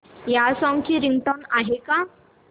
या सॉन्ग ची रिंगटोन आहे का